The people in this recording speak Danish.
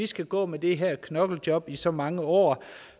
skal gå med det her knoklejob i så mange år